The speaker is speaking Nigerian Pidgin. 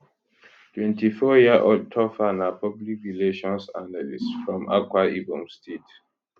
24yearold topher na public relations analyst from akwa ibom state